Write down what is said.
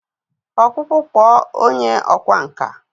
Ọkpụkpụ kpụọ onye ọkwá nkà.